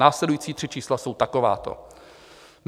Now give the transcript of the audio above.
Následující tři čísla jsou takováto.